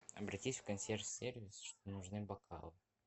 обратись в консьерж сервис что нужны бокалы